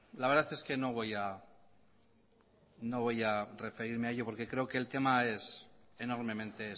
la verdad es que no voy a referirme a ello porque creo que el tema es enormemente